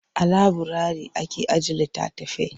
A laburari ake ajiye litattafai.